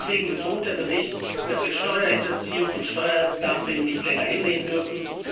Deswegen betont der Bericht, dass wir Steuerhinterziehung und Steuerdumping nicht länger hinnehmen dürfen.